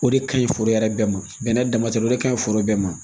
O de ka ɲi foro yɛrɛ bɛɛ ma bɛnɛ dama tɛ o de ka ɲi foro bɛɛ ma